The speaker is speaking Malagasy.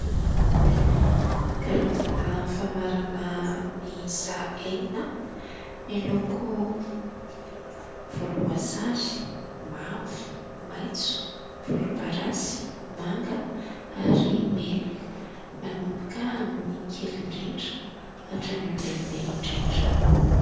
Karazana famarana miisa enina miloko volomboasary, mavo, maitso, volomparasy, manga ary mena. Manomboka amin'ny kely indrindra, hatrany amln'ny lehibe indrindra.